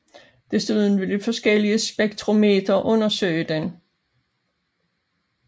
Desuden vil forskellige spektrometre undersøge den